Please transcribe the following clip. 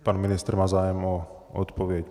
Pan ministr má zájem o odpověď.